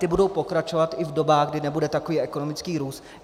Ty budou pokračovat i v dobách, kdy nebude takový ekonomický růst.